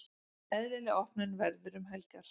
Eðlileg opnun verður um helgar.